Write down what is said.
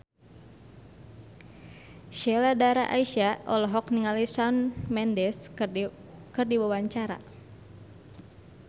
Sheila Dara Aisha olohok ningali Shawn Mendes keur diwawancara